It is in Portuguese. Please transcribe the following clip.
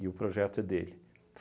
E o projeto é dele.